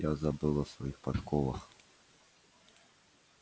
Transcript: я забыл о своих подковах